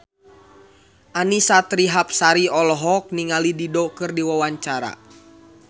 Annisa Trihapsari olohok ningali Dido keur diwawancara